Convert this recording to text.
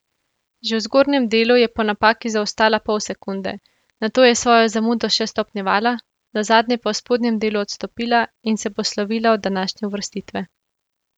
Že v zgornjem delu je po napaki zaostala pol sekunde, nato je svojo zamudo še stopnjevala, nazadnje pa v spodnjem delu odstopila in se poslovila od današnje uvrstitve.